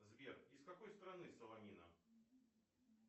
сбер из какой страны солонина